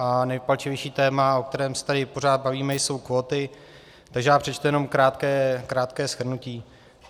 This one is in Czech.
A nejpalčivější téma, o kterém se tady pořád bavíme, jsou kvóty, takže já přečtu jenom krátké shrnutí.